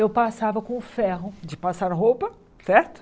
Eu passava com o ferro de passar roupa, certo?